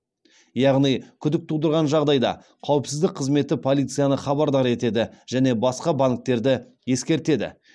яғни күдік тудырған жағдайда қауіпсіздік қызметі полицияны хабардар етеді және басқа банктерді ескертеді